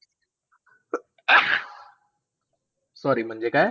Sorry म्हणजे काय?